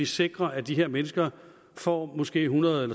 sikre at de her mennesker får måske hundrede